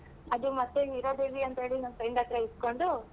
ಅದು ಮತ್ತೆ ಹೀರಾದೇವಿ ಅಂತ ನನ್ friend ಹತ್ರ ಇಸ್ಕೊಂಡು.